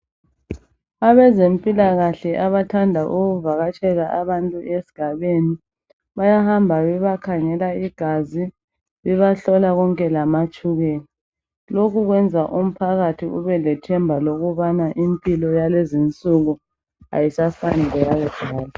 Abezempilakahle abathanda ukuvakatshela abantu esgabeni, bayahamba bebakhangela igazi bebahlola konke lamatshukela. Lokhu kwenza umphakathi ubelethemba lokuthi impilo yalezinsuku ayisafani leyakudala.